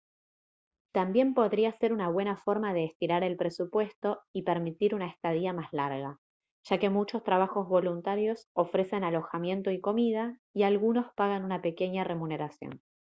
también podría ser una buena forma de estirar el presupuesto y permitir una estadía más larga ya que muchos trabajos voluntarios ofrecen alojamiento y comida y algunos pagan una pequeña remuneración